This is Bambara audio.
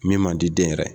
Min man di den yɛrɛ ye